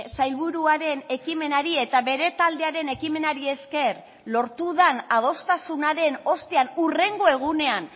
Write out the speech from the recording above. sailburuaren ekimenari eta bere taldearen ekimenari esker lortu den adostasunaren ostean hurrengo egunean